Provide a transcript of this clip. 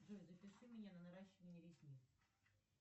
джой запиши меня на наращивание ресниц